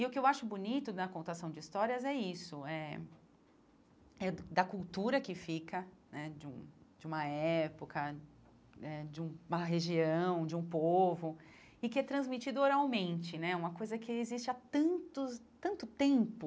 E o que eu acho bonito na contação de histórias é isso eh, é da cultura que fica né de um de uma época né, de uma região, de um povo, e que é transmitido oralmente né, uma coisa que existe há tantos tanto tempo,